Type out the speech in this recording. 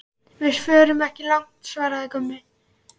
Við förum ekki langt, svaraði Gunni.